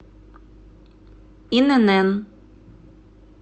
инн